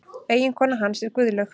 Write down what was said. Eiginkona hans er Guðlaug